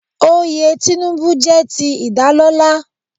Oyè Tinubu jẹ́ ti ìdálọ́lá.